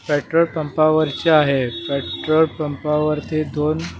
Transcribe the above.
petrol पंपावरचे आहे petrol पंपावरती दोन--